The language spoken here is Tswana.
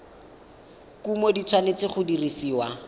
kumo di tshwanetse go dirisiwa